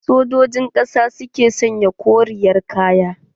Sojojin ƙasa su ke sanya koriyar kaya.